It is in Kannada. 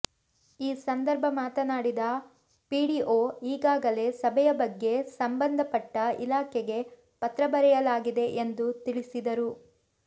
ಈ ಸಂದರ್ಭ ಮಾತನಾಡಿದ ಪಿಡಿಓ ಈಗಾಗಲೇ ಸಭೆಯ ಬಗ್ಗೆ ಸಂಬಂದಪಟ್ಟ ಇಲಾಖೆಗೆ ಪತ್ರ ಬರೆಯಲಾಗಿದೆ ಎಂದು ತಿಳಿಸಿದರು